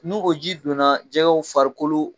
Ni o ji donna jɛgɛw farikolo.